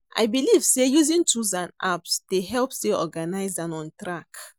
I believe say using tools and apps dey help stay organized and on track.